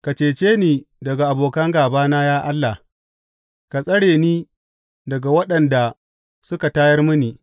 Ka cece ni daga abokan gābana, ya Allah; ka tsare ni daga waɗanda suka tayar mini.